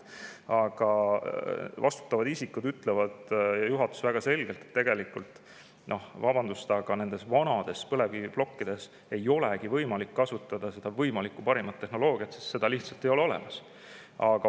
Aga vastutavad isikud juhatuses ütlevad väga selgelt, et noh, vabandust, nendes vanades põlevkiviplokkides tegelikult ei olegi võimalik kasutada parimat võimalikku tehnoloogiat, sest seda lihtsalt ei ole olemas.